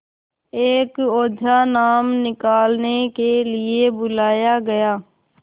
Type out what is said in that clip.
एक ओझा नाम निकालने के लिए बुलाया गया